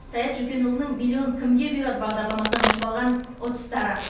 саят жөкенұлының миллион кімге бұйырады бағдарламасынан ұтып алған ұтыстары